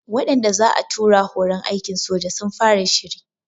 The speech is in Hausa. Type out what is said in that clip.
Waɗanda za'a tura horon aikin soja sun fara shiri